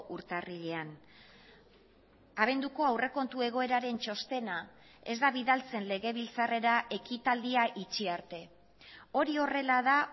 urtarrilean abenduko aurrekontu egoeraren txostena ez da bidaltzen legebiltzarrera ekitaldia itxi arte hori horrela da